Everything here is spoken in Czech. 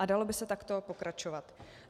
A dalo by se takto pokračovat.